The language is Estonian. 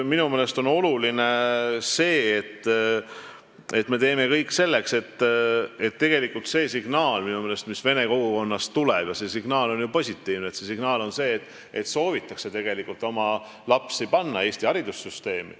Minu meelest on oluline, et me teeme kõik selleks – tegelikult see signaal vene kogukonnast tuleb ja see on ju positiivne –, et soovitakse panna oma lapsi õppima Eesti haridussüsteemi.